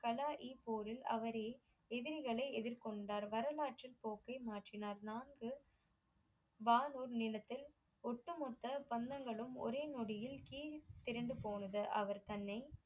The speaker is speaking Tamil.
கலாயி போரில் அவரே எதிகளை எதிர் கொண்டார் வலாற்று போக்கை மாற்றினார் நான்கு பாதூர் நிலத்தை ஒட்டு மொத்த பந்தங்களும் ஒரே நொடியில் கீல் பிரண்டு போனது அவர் தன்னை